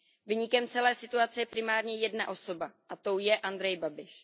Viníkem celé situace je primárně jedna osoba, a tou je Andrej Babiš.